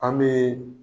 An bɛ